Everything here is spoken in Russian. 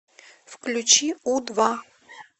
включи у два